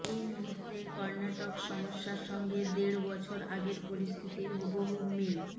এই মুহূর্তের কর্ণাটক সমস্যার সঙ্গে দেড় বছর আগের পরিস্থিতির হুবহু মিল